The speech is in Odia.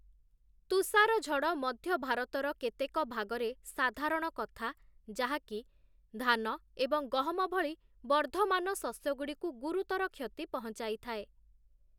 ତୁଷାରଝଡ଼ ମଧ୍ୟ ଭାରତର କେତେକ ଭାଗରେ ସାଧାରଣ କଥା, ଯାହାକି ଧାନ ଏବଂ ଗହମ ଭଳି ବର୍ଦ୍ଧମାନ ଶସ୍ୟଗୁଡ଼ିକୁ ଗୁରୁତର କ୍ଷତି ପହଞ୍ଚାଇଥାଏ ।